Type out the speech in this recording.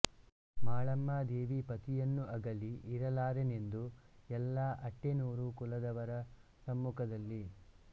ಮಾಳಮ್ಮ ದೇವಿ ಪತಿಯನ್ನು ಅಗಲಿ ಇರಲಾರೆನೆಂದು ಎಲ್ಲಾ ಅಟ್ಟೆನೋರು ಕುಲದವರ ಸಮ್ಮುಖದಲ್ಲಿ